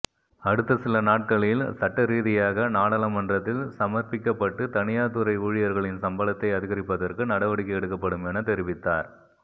அடுத்த சில நாட்களில் சட்டரீதியாக நாடாளுமன்றத்தில் சமர்ப்பிக்கப்பட்டு தனியார் துறை ஊழியர்களின் சம்பளத்தை அதிகரிப்பதற்கு நடவடிக்கை எடுக்கப்படும் என தெரிவித்தார்